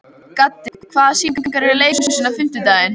Gaddi, hvaða sýningar eru í leikhúsinu á fimmtudaginn?